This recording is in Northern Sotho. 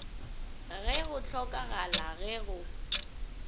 ge go hlokagala ge go